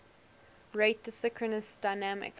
rate synchronous dynamic